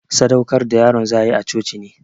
Sadaukar da yaron za'ayi a coci ne.